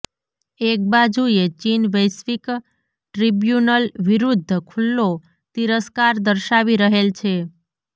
એક બાજુએ ચીન વૈશ્ર્વિક ટ્રિબ્યુનલ વિરૂધ્ધ ખુલ્લો તિરસ્કાર દર્શાવી રહેલ છે